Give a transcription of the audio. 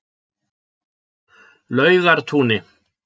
Laugartúni